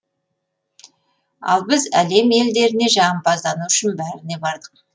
ал біз әлем елдеріне жағымпаздану үшін бәріне бардық